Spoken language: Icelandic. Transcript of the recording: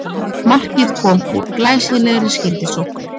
Markið kom úr glæsilegri skyndisókn